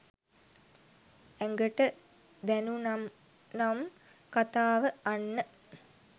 ඇගට දැනුනම් කතාව අන්න